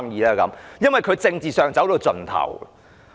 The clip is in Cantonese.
這是因為他在政治上已走到盡頭。